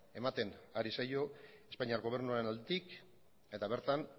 ematen ari zaio espainiar gobernuaren aldetik eta bertan